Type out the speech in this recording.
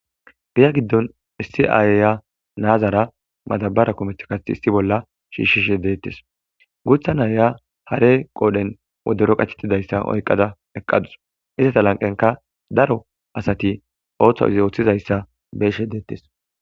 Giya giddon issi aaya naazara madabara kumet kath issi bolla shiishishe deettes guutha naaya hare qoodhen wodero qachettidayssa oyqada eqqadus isata lanqenka daro asati ooththo izi ooththizayssa beeshe deettes